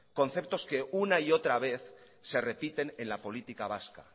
conceptos que una y otra vez se repiten en la política vasca